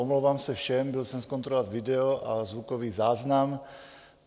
Omlouvám se všem, byl jsem zkontrolovat video a zvukový záznam.